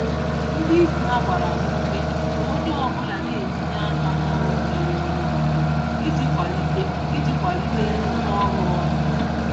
Ndị isi ha gbara ha ume ka ónyé ọbula na-etinye aka n'ọrụ dịrị onye ọzọ, iji kwalite iji kwalite nrụkọ ọrụ ọnụ.